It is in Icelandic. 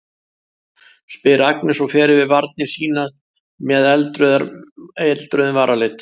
spyr Agnes og fer yfir varir sínar með með eldrauðum varalit.